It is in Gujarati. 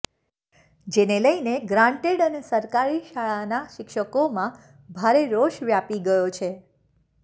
જેને લઈને ગ્રાન્ટેડ અને સરકારી શાળાના શિક્ષકોમાં ભારે રોષ વ્યાપી ગયો છે